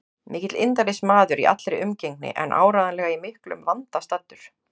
Mikill indælismaður í allri umgengni en áreiðanlega í miklum vanda staddur.